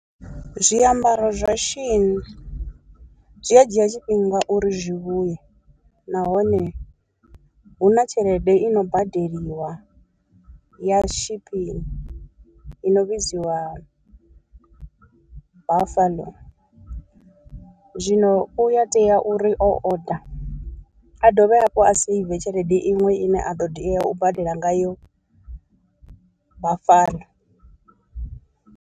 Zwiambaro zwa shein zwi a dzhia tshifhinga uri zwi vhuye, nahone hu na tshelede i no badeliwa ya shipping i no vhidziwa buffalo, zwino u a tea uri o order a dovhe hafhu a seive tshelede iṅwe ine a ḓo tea u badela ngayo buffalo.